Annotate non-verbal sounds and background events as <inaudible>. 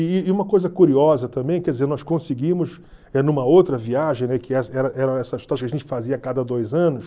E e uma coisa curiosa também, quer dizer, nós conseguimos, eh numa outra viagem, né, que <unintelligible> que a gente fazia a cada dois anos,